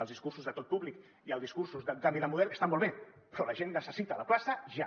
els discursos de tot públic i els discursos de canvi de model estan molt bé però la gent necessita la plaça ja